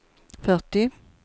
fyrtio